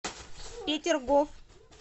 петергоф